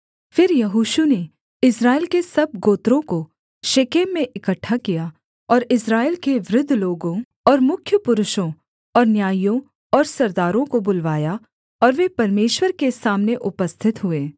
फिर यहोशू ने इस्राएल के सब गोत्रों को शेकेम में इकट्ठा किया और इस्राएल के वृद्ध लोगों और मुख्य पुरुषों और न्यायियों और सरदारों को बुलवाया और वे परमेश्वर के सामने उपस्थित हुए